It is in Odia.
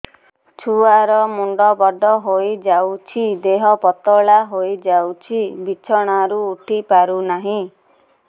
ଛୁଆ ର ମୁଣ୍ଡ ବଡ ହୋଇଯାଉଛି ଦେହ ପତଳା ହୋଇଯାଉଛି ବିଛଣାରୁ ଉଠି ପାରୁନାହିଁ